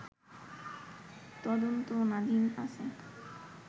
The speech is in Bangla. তদন্তনাধীন আছে